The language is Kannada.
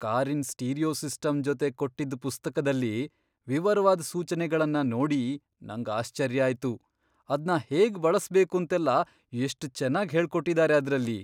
ಕಾರಿನ್ ಸ್ಟೀರಿಯೊ ಸಿಸ್ಟಮ್ ಜೊತೆ ಕೊಟ್ಟಿದ್ದ್ ಪುಸ್ತಕ್ದಲ್ಲಿ ವಿವರ್ವಾದ್ ಸೂಚ್ನೆಗಳ್ನ ನೋಡಿ ನಂಗ್ ಆಶ್ಚರ್ಯ ಆಯ್ತು. ಅದ್ನ ಹೇಗ್ ಬಳಸ್ಬೇಕೂಂತೆಲ್ಲ ಎಷ್ಟ್ ಚೆನ್ನಾಗ್ ಹೇಳ್ಕೊಟ್ಟಿದಾರೆ ಆದ್ರಲ್ಲಿ!